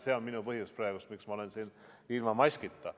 See on minu põhjus praegu, miks ma olen siin ilma maskita.